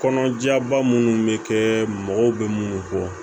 Kɔnɔjaba minnu bɛ kɛ mɔgɔw bɛ minnu bɔ